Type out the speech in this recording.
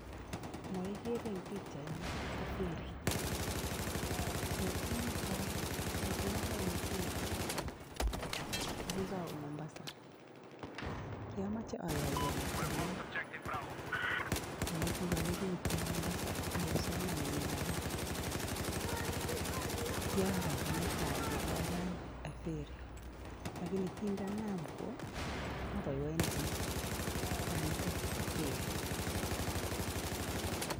No igeere eng pikchaino ko ferry, betut netai nekialanye ferry ko kiawe Mombasa kiomoche awo bitonin amun kikarote Mombasa ak kipsomaninik alak. Kiaraken netai kingalany ferry lakini kindaanam kwo aboiboinchin banito bo ferry.